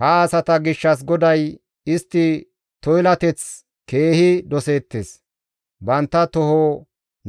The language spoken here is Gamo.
Ha asata gishshas GODAY, «Istti toylatteteth keehi doseettes; bantta toho